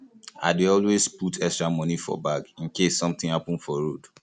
i dey always put extra money for bag in case something happen for road